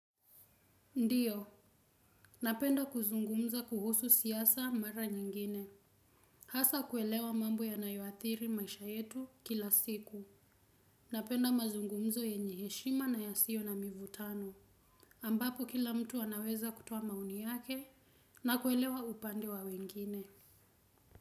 Ndiyo, napenda kuzungumza kuhusu siasa mara nyingine. Hasa kuelewa mambo yanayoathiri maisha yetu ya kila siku. Napenda mazungumzo yenye heshima na yasio na mvutano. Ambapo kila mtu anaweza kutoa maoni yake na kuelewa upande wa wengine.